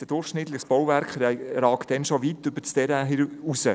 Ein durchschnittliches Bauwerk ragt dann schon weit über das Terrain hinaus.